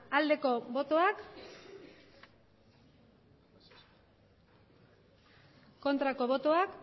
emandako botoak